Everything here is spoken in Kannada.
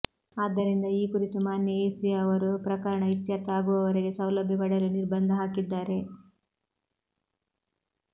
ಆದ್ದರಿಂದ ಈ ಕುರಿತು ಮಾನ್ಯ ಎಸಿ ಅವರು ಪ್ರಕರಣ ಇತ್ಯರ್ಥ ಆಗುವವರೆಗೆ ಸೌಲಭ್ಯ ಪಡೆಯಲು ನಿರ್ಬಂಧ ಹಾಕಿದ್ದಾರೆ